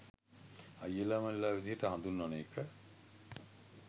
අයියලා මල්ලිලා විදිහට හඳුන්වන එක